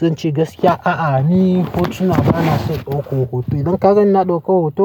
zan ce gaskiya a'a ni hotuna bana son ɗaukan hoto. Idan ka gani ina ɗauka hoto.